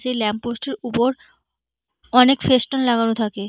সেই ল্যাম্পপোস্টটির উপর অনেক ফেসটুন লাগানো থাকে ।